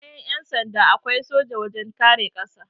Bayan Yan sanda, akwai soja wajen kare ƙasa